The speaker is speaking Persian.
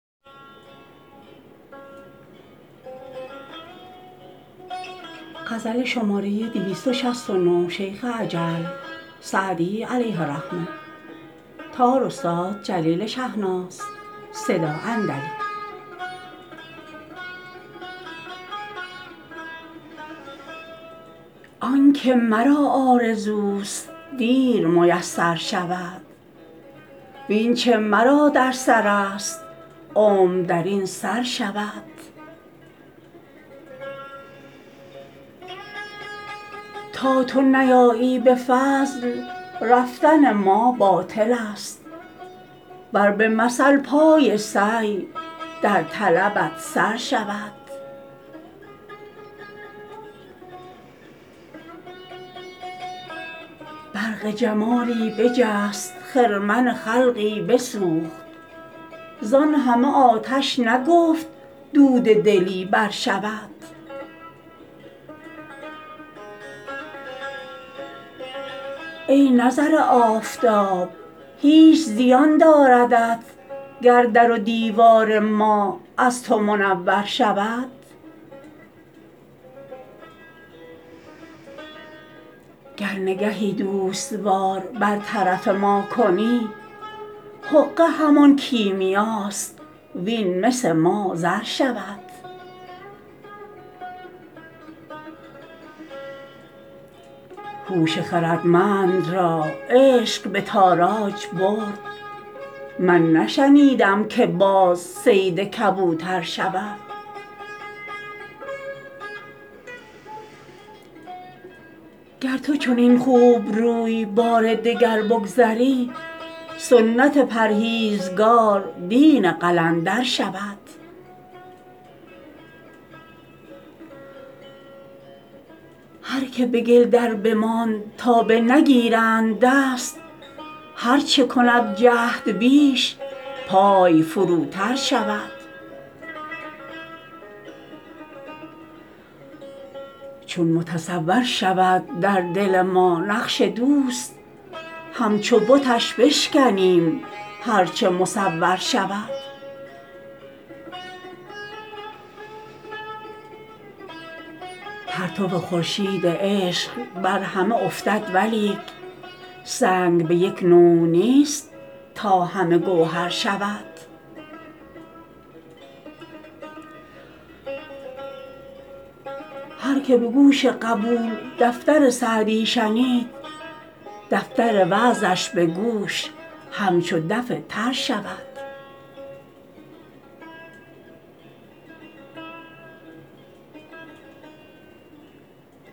آن که مرا آرزوست دیر میسر شود وین چه مرا در سرست عمر در این سر شود تا تو نیایی به فضل رفتن ما باطلست ور به مثل پای سعی در طلبت سر شود برق جمالی بجست خرمن خلقی بسوخت زان همه آتش نگفت دود دلی برشود ای نظر آفتاب هیچ زیان داردت گر در و دیوار ما از تو منور شود گر نگهی دوست وار بر طرف ما کنی حقه همان کیمیاست وین مس ما زر شود هوش خردمند را عشق به تاراج برد من نشنیدم که باز صید کبوتر شود گر تو چنین خوبروی بار دگر بگذری سنت پرهیزگار دین قلندر شود هر که به گل دربماند تا بنگیرند دست هر چه کند جهد بیش پای فروتر شود چون متصور شود در دل ما نقش دوست همچو بتش بشکنیم هر چه مصور شود پرتو خورشید عشق بر همه افتد ولیک سنگ به یک نوع نیست تا همه گوهر شود هر که به گوش قبول دفتر سعدی شنید دفتر وعظش به گوش همچو دف تر شود